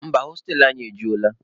Mba, hostelụ anyị ejula.